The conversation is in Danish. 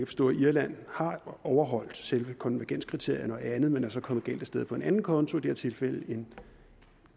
forstå at irland har overholdt selve konvergenskriterierne og andet men så er kommet galt af sted på en anden konto i det her tilfælde en